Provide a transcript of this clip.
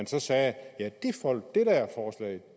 så sagde ja